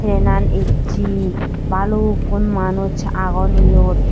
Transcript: trenan ecchey balukkun manuj agon iyot.